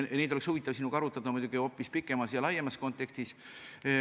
Neid oleks huvitav arutada sinuga muidugi hoopis pikemas ja laiemas kontekstis.